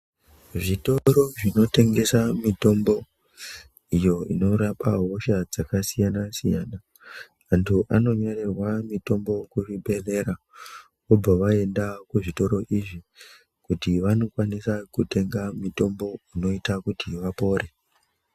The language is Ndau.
Zvitoro zvinotengesa mitombo iyo inorapa hosha dzakasiyana siyana, Vantu anonyorerwa mitombo kuzvibhedhlera, vobva vaenda kuzvitoro izvi kuti vanokwanisa kutenga mutombo unoita kuti vapore.